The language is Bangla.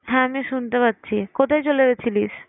হ্যাঁ আমি শুনতে পাচ্ছি। কোথায় চলে গেছিলিস?